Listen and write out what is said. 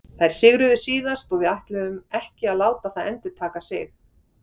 Þær sigruðu síðast og við ætlum ekki að láta það endurtaka sig.